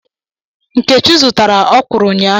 Nkechi zụtara ọkwuru ụnyaahụ.